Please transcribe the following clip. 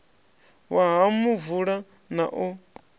wa ha muvula na u